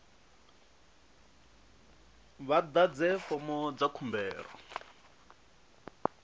vha ḓadze fomo dza khumbelo